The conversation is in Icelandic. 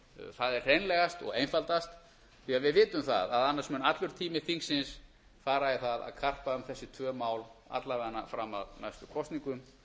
það er hreinlegast og einfaldast því við vitum það að annars fer allur tími þingsins fara í það að karpa um þessi tvö mál alla vega fram að næstu kosningum